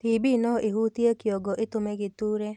TB noĩhutie kĩongo ĩtũme gĩtuure